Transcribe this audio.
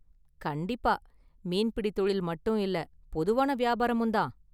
கண்டிப்பா! மீன்பிடி தொழில் மட்டும் இல்ல, பொதுவான வியாபாரமும் தான்.